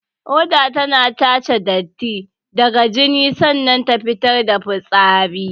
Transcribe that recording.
Ƙoda tana tace datti daga jini sannan ta fitar da fitsari.